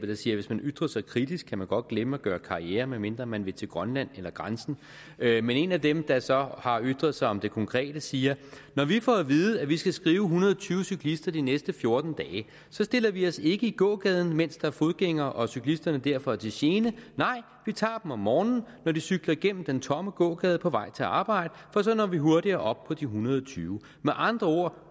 der siger hvis man ytrer sig kritisk kan man godt glemme at gøre karriere med mindre man vil til grønland eller grænsen men en af dem der så har ytret sig om det konkrete siger når vi får at vide at vi skal skrive en hundrede og tyve cyklister de næste fjorten dage så stiller vi os ikke i gågaden mens der er fodgængere og cyklisterne derfor er til gene nej vi tager dem om morgenen når de cykler igennem den tomme gågade på vej til arbejde for så når vi hurtigere op på de en hundrede og tyve med andre ord